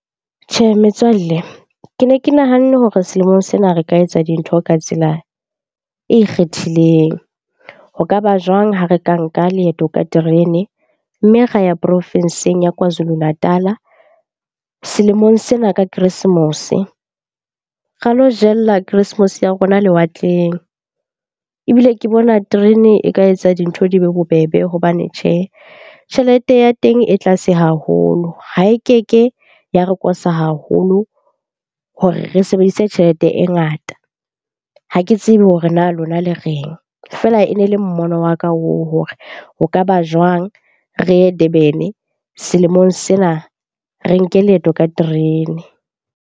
Tjhe, metswalle ke ne ke nahanne hore selemong sena re ka etsa dintho ka tsela e ikgethileng. Ho ka ba jwang ha re ka nka leeto ka terene, mme ra ya profinsing ya Kwazulu Natal-a selemong sena ka keresemose, ra lo jella keresemose ya rona lewatleng. Ebile ke bona terene e ka etsa dintho di be bobebe hobane tjhe, tjhelete ya teng e tlase haholo ha e keke ya re kosa haholo hore re sebedise tjhelete e ngata. Ha ke tsebe hore na lona le reng? Feela e ne le mmono wa ka oo hore ho ka ba jwang re ye Durban-e selemong sena, re nke leeto ka terene.